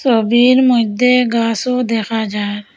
টবের মইদ্যে গাসও দেখা যার।